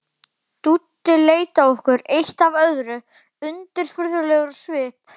Dúddi leit á okkur eitt af öðru, undirfurðulegur á svip.